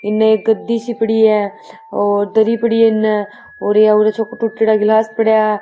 इन एक गद्दी सी पड़ी है और दरी पड़ी है और या उरे चोको टुटेड़ा गिलास पड़ा है।